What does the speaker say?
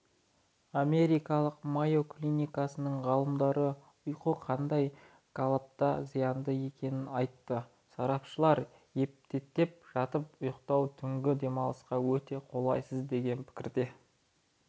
америкалық майо клиникасының ғалымдары ұйқы қандай қалыпта зиянды екенін айтты сарапшылар етпеттеп жатып ұйықтау түнгі демалысқа өте қолайсыз деген пікірде